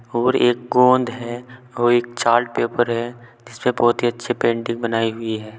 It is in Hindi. और एक गोंद है और एक चार्ट पेपर है इसपे बहोत ही अच्छे पेंटिंग बनाई हुई है।